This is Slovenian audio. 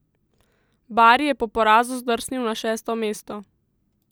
Bari je po porazu zdrsnil na šesto mesto.